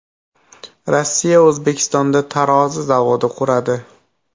Rossiya O‘zbekistonda tarozi zavodi quradi.